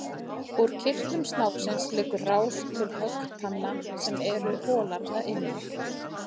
Úr kirtlum snáksins liggur rás til höggtanna sem eru holar að innan.